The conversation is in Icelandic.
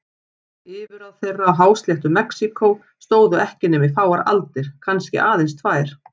Yfirráð þeirra á hásléttu Mexíkó stóðu ekki nema í fáar aldir, kannski aðeins tvær.